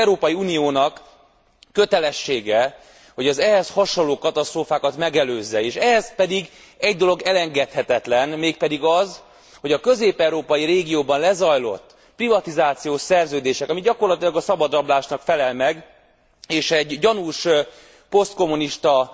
Az Európai Uniónak kötelessége, hogy az ehhez hasonló katasztrófákat megelőzze, és ehhez pedig egy dolog elengedhetetlen, mégpedig az, hogy a közép európai régióban lezajlott privatizációs szerződések, ami gyakorlatilag a szabadrablásnak felel meg, és gyanús posztkommunista